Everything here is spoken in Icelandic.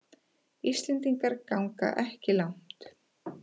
Íslendingar ganga ekki langt